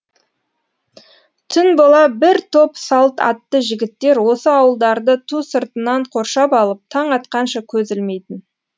түн бола бір топ салт атты жігіттер осы ауылдарды ту сыртынан қоршап алып таң атқанша көз ілмейтін